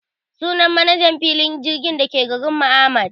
Sunan manajan filin jirgin dake garinmu Ahmad